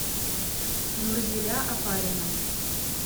нурзиля опарина